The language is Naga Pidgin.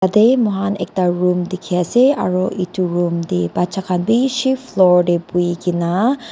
tae moi khan ekta room dekhi ase aru etu took tae bacha khan bishi floor tae bhuikena.